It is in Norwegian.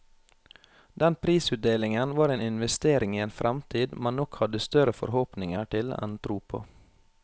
Den prisutdelingen var en investering i en fremtid man nok hadde større forhåpninger til enn tro på.